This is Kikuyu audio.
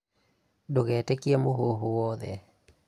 Ndũgetĩkie mũhuhu wothe